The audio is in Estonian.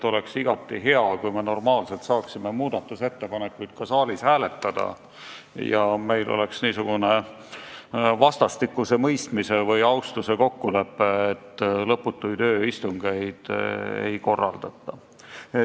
Oleks igati hea, kui me saaksime kõiki muudatusettepanekuid saalis hääletada ja meil kehtiks vastastikuse mõistmise või austuse kokkulepe, et lõputuid ööistungeid ei korraldata.